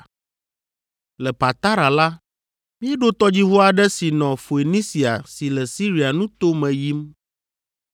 Le Patara la, míeɖo tɔdziʋu aɖe si nɔ Foenisia si le Siria nuto me yim.